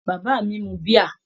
Bàbá mi mu bíà?